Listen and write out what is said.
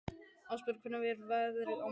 Ásbergur, hvernig er veðrið á morgun?